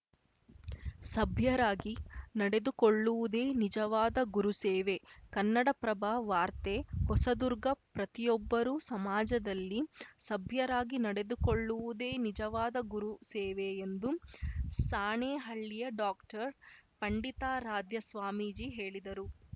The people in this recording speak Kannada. ಸಭ್ಯರಾಗಿ ನಡೆದುಕೊಳ್ಳುವುದೇ ನಿಜವಾದ ಗುರು ಸೇವೆ ಕನ್ನಡಪ್ರಭ ವಾರ್ತೆ ಹೊಸದುರ್ಗ ಪ್ರತಿಯೊಬ್ಬರು ಸಮಾಜದಲ್ಲಿ ಸಭ್ಯರಾಗಿ ನಡೆದುಕೊಳ್ಳುವುದೇ ನಿಜವಾದ ಗುರು ಸೇವೆ ಎಂದು ಸಾಣೆಹಳ್ಳಿಯ ಡಾಕ್ಟರ್ ಪಂಡಿತಾರಾಧ್ಯ ಸ್ವಾಮೀಜಿ ಹೇಳಿದರು